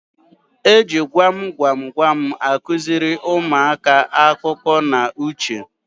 E ji gwam gwam gwam akụziri ụmụaka akọ na uche.